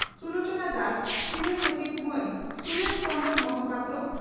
ᱥᱩᱞᱚᱪᱚᱱᱟ ᱫᱟᱥ ᱥᱤᱨᱟᱹ ᱥᱚᱪᱤᱵᱽ ᱢᱟᱱ ᱥᱩᱨᱮᱥ ᱪᱚᱱᱫᱽᱨᱚ ᱢᱚᱦᱟᱯᱟᱛᱨᱚ